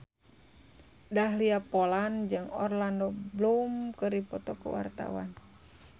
Dahlia Poland jeung Orlando Bloom keur dipoto ku wartawan